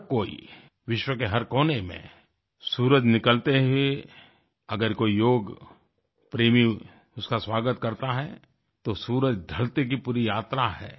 हर कोई विश्व के हर कोने में सूरज निकलते ही अगर कोई योग प्रेमी उसका स्वागत करता है तो सूरज ढ़लते की पूरी यात्रा है